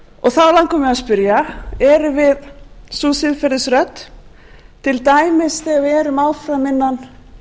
langar mig að spyrja erum við sú siðferðisrödd til dæmis þegar við erum áfram innan